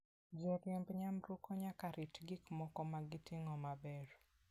Joriemb nyamburko nyaka rit gik moko ma giting'o maber.